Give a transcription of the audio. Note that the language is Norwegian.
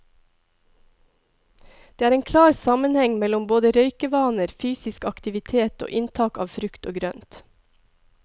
Det er en klar sammenheng mellom både røykevaner, fysisk aktivitet og inntak av frukt og grønt.